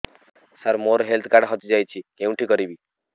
ସାର ମୋର health card ହଜି ଯାଇଛି କେଉଁଠି କରିବି